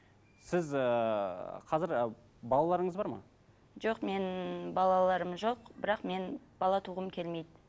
сіз ыыы қазір ы балаларыңыз бар ма жоқ менің балаларым жоқ бірақ мен бала туғым келмейді